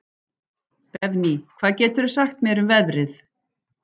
Benvý, hvað geturðu sagt mér um veðrið?